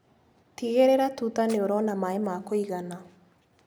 Tigĩrĩra tuta nĩũrona maĩ ma kũigana.